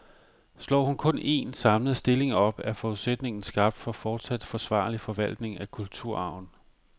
Slår hun kun en, samlet stilling op, er forudsætningen skabt for fortsat forsvarlig forvaltning af kulturarven.